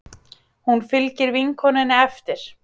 Hún fylgir vinkonunni eftir.